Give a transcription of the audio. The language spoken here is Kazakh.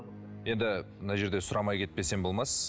енді мына жерде сұрамай кетпесем болмас